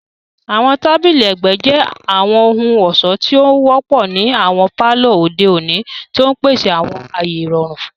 Àwọn tabili ẹgbẹ jẹ àwọn ohun-ọṣọ ti o wọpọ ni awọn palọ ode oni, ti n pese awọn aaye irọrun.